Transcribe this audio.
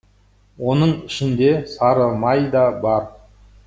оның ішінде сары май да бар